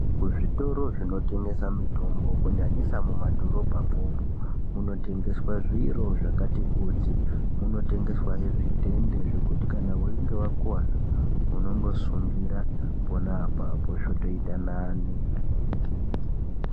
Kuzvitoro zvinotengesa mitombo kunyanyisa mumadhorobhamwo umwo muno tengeswa zviro zvakati kuti. Muno tengeswahe zvidhende zvekuti kana weinge wakuwara, unongosungira pona apapo zvotoita nane.